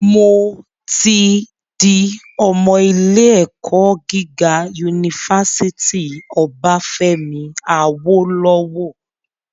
Mo tí di ọmọ ilé - ẹ̀kọ́ gíga unifásítì Obáfẹ́mi Awólọ́wọ̀